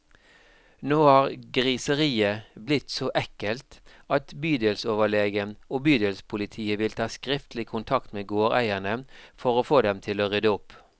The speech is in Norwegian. Nå har griseriet blitt så ekkelt at bydelsoverlegen og bydelspolitiet vil ta skriftlig kontakt med gårdeierne, for å få dem til å rydde opp.